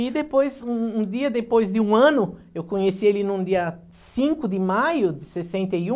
E depois, um um dia depois de um ano, eu conheci ele num dia cinco de maio de sessenta e um,